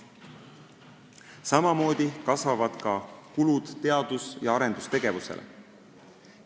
Samamoodi kasvavad kulutused teadus- ja arendustegevusele.